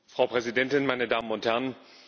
Frau Präsidentin, meine Damen und Herren!